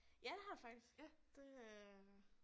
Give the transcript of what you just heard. Ja det har det faktisk det øh